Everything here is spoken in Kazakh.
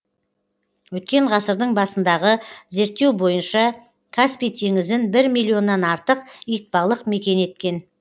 өткен ғасырдың басындағы зерттеу бойынша каспий теңізін бір миллионнан артық итбалық мекен еткен